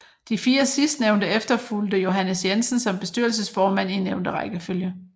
De fire sidstnævnte efterfulgte Johannes Jensen som bestyrelsesformand i nævnte rækkefølge